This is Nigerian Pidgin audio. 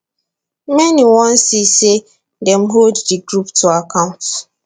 many wan see say dem hold di group to account